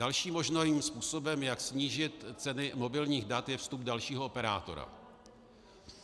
Dalším možným způsobem, jak snížit ceny mobilních dat, je vstup dalšího operátora.